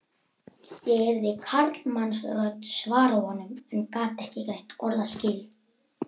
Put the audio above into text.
Ég heyrði karlmannsrödd svara honum en gat ekki greint orðaskil.